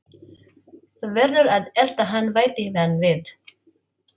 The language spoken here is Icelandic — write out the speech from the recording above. Þú verður að elta hann bætti hann við.